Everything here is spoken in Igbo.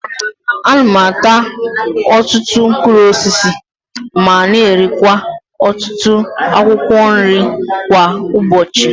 Ana m ata ọtụtụ mkpụrụ osisi ma na-erikwa ọtụtụ akwụkwọ nri kwa ụbọchi.